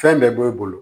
Fɛn bɛɛ b'e bolo